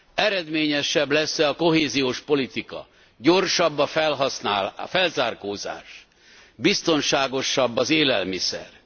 Eredményesebb lesz e a kohéziós politika, gyorsabb a felzárkózás, biztonságosabb az élelmiszer?